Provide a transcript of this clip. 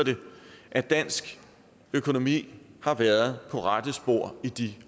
at dansk økonomi har været på rette spor i de